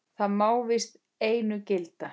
Það má víst einu gilda.